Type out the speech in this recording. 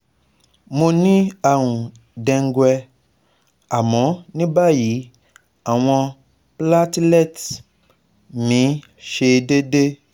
Mo ni àrùn dengue, àmọ́ ní báyìí, awon platelets mi se deede